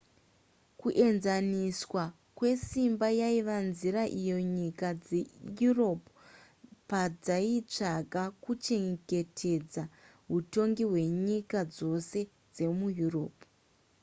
kuenzaniswa kwesimba yaiva nzira iyo nyika dzeeurope padzaitsvaga kuchengetedza hutongi hwenyika dzose dzemueurope